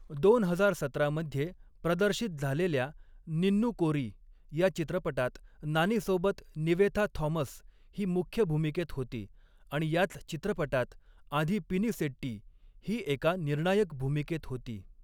दोन हजार सतरा मध्ये प्रदर्शित झालेल्या 'निन्नू कोरी' या चित्रपटात नानीसोबत निवेथा थॉमस ही मुख्य भूमिकेत होती आणि याच चित्रपटात आधी पिनीसेट्टी ही एका निर्णायक भूमिकेत होती.